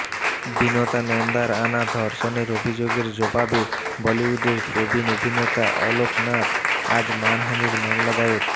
বিনতা নন্দার আনা ধর্ষণের অভিযোগের জবাবে বলিউডের প্রবীণ অভিনেতা অলোক নাথ আজ মানহানির মামলা দায়ের